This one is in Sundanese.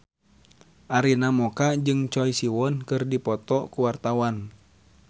Arina Mocca jeung Choi Siwon keur dipoto ku wartawan